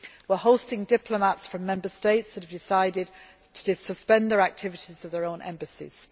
We are hosting diplomats from Member States that have decided to suspend the activities of their own embassies.